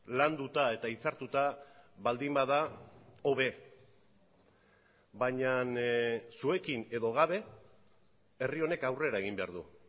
landuta eta hitzartuta baldin bada hobe baina zuekin edo gabe herri honek aurrera egin behar du